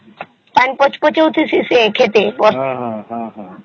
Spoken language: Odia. ତାଙ୍କ ଗଛ କୁ ସବୁ ଖେତୀ ଖେତୀ